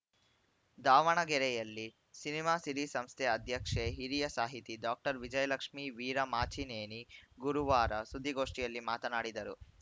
ದಾವಣಗೆರೆಯಲ್ಲಿ ಸಿನಿಮಾ ಸಿರಿ ಸಂಸ್ಥೆ ಅಧ್ಯಕ್ಷೆ ಹಿರಿಯ ಸಾಹಿತಿ ಡಾಕ್ಟರ್ ವಿಜಯಲಕ್ಷ್ಮೀ ವೀರಮಾಚಿನೇನಿ ಗುರುವಾರ ಸುದ್ದಿಗೋಷ್ಠಿಯಲ್ಲಿ ಮಾತನಾಡಿದರು